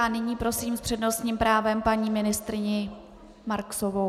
A nyní prosím s přednostním právem paní ministryni Marksovou.